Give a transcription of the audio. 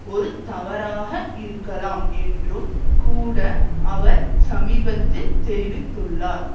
ஒரு தவறாக இருக்கலாம் என்றும் கூட அவர் சமீபத்தில் தெரிவித்துள்ளார்